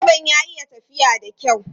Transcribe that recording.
Direban ya iya tafiya da kyau.